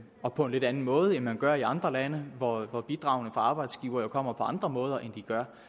og på en lidt anden måde end man gør i andre lande hvor hvor bidragene fra arbejdsgivere jo kommer på andre måder end de gør